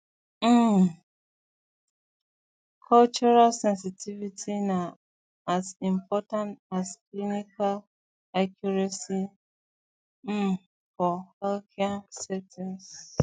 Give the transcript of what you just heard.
um um cultural sensitivity na as important as clinical accuracy um for healthcare settings